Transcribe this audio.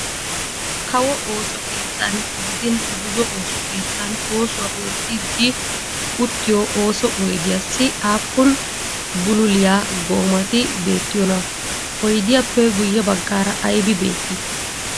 Kawo ooso keettan gidin buzo ooso keettan oosuwaa oottiiddi utiyoo ooso oydiyaassi aappun bululiyaa goomati beettiyoonaa? Oyidiyaappe guyye baggaara ayibi beettii?